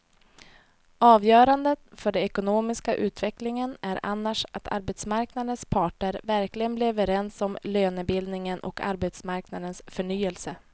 Avgörande för den ekonomiska utvecklingen är annars att arbetsmarknadens parter verkligen blir överens om lönebildningen och arbetsmarknadens förnyelse.